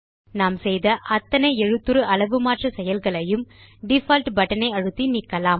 நாம் செய்த அத்தனை எழுத்துரு அளவு மாற்ற செயல்களையும் டிஃபால்ட் பட்டன் ஐ அழுத்தி நீக்கலாம்